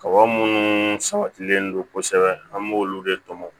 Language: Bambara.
Kaba minnu sabatilen don kosɛbɛ an b'olu de tɔmɔ